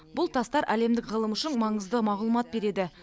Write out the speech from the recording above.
бұл тастар әлемдік ғылым үшін маңызды мағлұмат береді